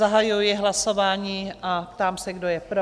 Zahajuji hlasování a ptám se, kdo je pro?